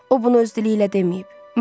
O bunu öz dili ilə deməyib.